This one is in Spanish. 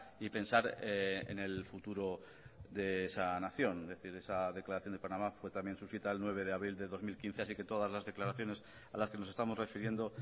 y pensar en el futuro de esa nación es decir esa declaración de panamá fue también suscrita el nueve de abril de dos mil quince así que todas las declaraciones a las que nos estamos refiriendo